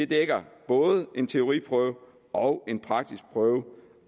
dækker både en teoriprøve og en praktisk prøve